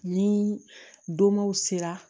Ni donmow sera